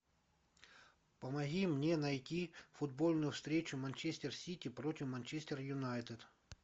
помоги мне найти футбольную встречу манчестер сити против манчестер юнайтед